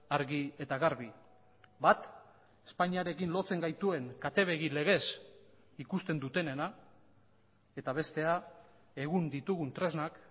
argi eta garbi bat espainiarekin lotzen gaituen kate begi legez ikusten dutenena eta bestea egun ditugun tresnak